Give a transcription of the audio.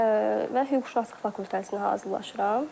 Və hüquqşünaslıq fakültəsinə hazırlaşıram.